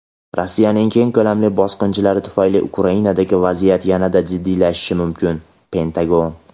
Rossiyaning keng ko‘lamli bosqinchiligi tufayli Ukrainadagi vaziyat yanada jiddiylashishi mumkin – Pentagon.